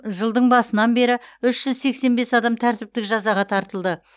жылдың басынан бері үш жүз сексен бес адам тәртіптік жазаға тартылды